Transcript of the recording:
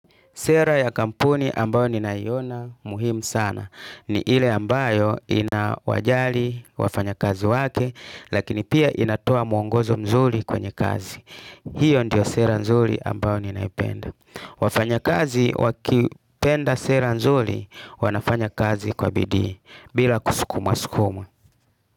Sera ya kampuni ambao ninaiona muhimu sana. Ni ile ambayo inawajali wafanya kazi wake, lakini pia inatoa mwongozo mzuri kwenye kazi. Hiyo ndio sera nzuri ambayo ni naipenda. Wafanya kazi wakipenda sera nzuri wanafanya kazi kwa BiDii bila kuskumwa skumwa.